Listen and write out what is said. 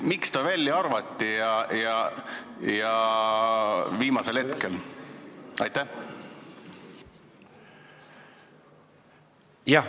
Miks ta välja arvati ja seda viimasel hetkel?